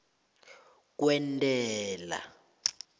kwentela